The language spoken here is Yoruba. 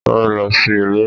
Sáré lọ sí ilé!